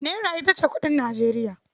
Naira ita ce kuɗin Nijeriya.